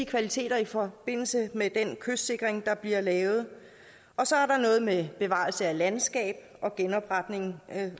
kvaliteten i forbindelse med den kystsikring der bliver lavet og så er der noget med bevarelse af landskab og genopretning